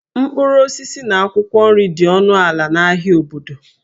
Mkpụrụ osisi na akwụkwọ nri dị ọnụ ala n'ahịa obodo